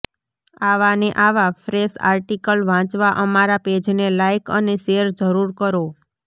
આવા ને આવા ફ્રેસ આર્ટીકલ વાંચવા અમારા પેજને લાઇક અને શેર જરૂર કરો